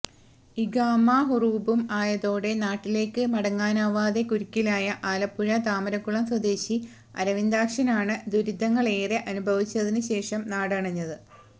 ഇഖാമ ഹുറൂബും ആയതോടെ നാട്ടിലേക്ക് മടങ്ങാനാവാതെ കുരുക്കിലായ ആലപ്പുഴ താമരക്കുളം സ്വദേശി അരവിന്ദാക്ഷനാണ് ദുരിതങ്ങളേറെ അനുഭവിച്ചതിന് ശേഷം നാടണഞ്ഞത്